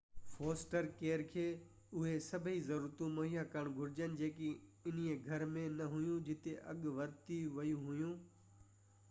foster care کي اُهي سڀئي ضرورتون مُهيا ڪرڻ گهرجن جيڪي انهي گهر ۾ نه هيون جتي اڳي ورتيون ويون هيون